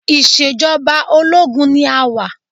Ìṣejọba ológun ni a wà.